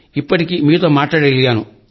ఇప్పటికి మీతో మాట్లాడగలిగాను